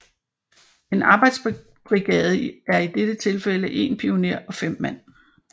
En arbejdsbrigade er i dette tilfælde 1 pioner og 5 mand